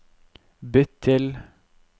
bytt til